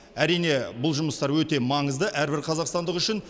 әрине бұл жұмыстар өте маңызды әрбір қазақстандық үшін